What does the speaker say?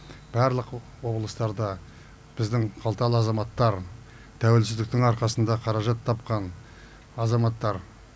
барлық облыстарда біздің қалталы азаматтар тәуелсіздіктің арқасында қаражат тапқан азаматтар